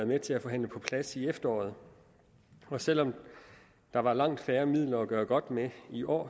med til at forhandle på plads i efteråret og selv om der var langt færre midler at gøre godt med i år